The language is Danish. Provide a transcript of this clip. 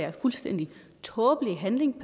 en fuldstændig tåbelig handling